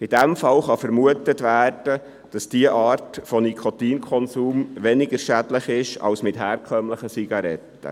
In diesen Fällen kann vermutet werden, dass diese Art der Nikotinsucht weniger schädlich ist als jene mit herkömmlichen Zigaretten.